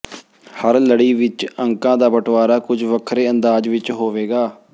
ਹਰ ਲੜੀ ਵਿਚ ਅੰਕਾਂ ਦਾ ਬਟਵਾਰਾ ਕੁਝ ਵੱਖਰੇ ਅੰਦਾਜ਼ ਵਿਚ ਹੋਵੇਗਾ